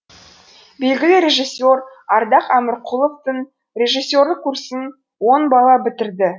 белгілі режиссер ардақ әмірқұловтың режиссерлік курсын он бала бітірді